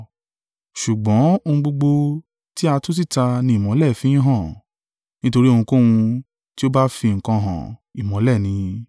Ṣùgbọ́n ohun gbogbo tí a tú síta ni ìmọ́lẹ̀ ń fì hàn: nítorí ohunkóhun tí ó bá fi nǹkan hàn, ìmọ́lẹ̀ ni.